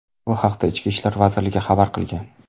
Bu haqda Ichki ishlar vazirligi xabar qilgan .